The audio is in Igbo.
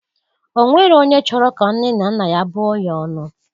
O nwero onye chọrọ ka nne na nna ya bụọ ya ọnụ.